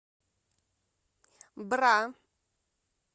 бра